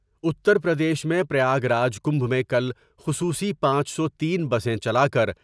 اتر پردیش میں Prayagraj Kumbh میں کل خصوصی پانچ سو تین بسیں چلا کر۔